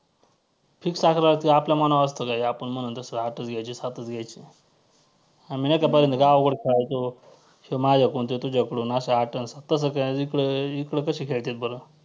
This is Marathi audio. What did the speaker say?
fix अकरा असतात का आपल्या मनावर असतं काय, आपण म्हणू तसं आठच घ्यायचे, सातच घ्यायचे आम्ही नाही का पहिल्यांदा गावाकडं खेळायचो ह्यो माझ्याकडून त्यो तुझ्याकडून असे आठ आणि सात तसं इकडे इकडे कसे खेळत्यात बरं.